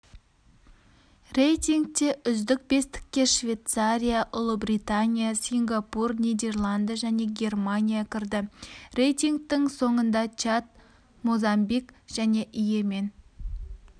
рейтингте үздік бестікке швейцария ұлыбритания сингапур нидерланды және германия кірді рейтингтің соңында чад мозамбик және йемен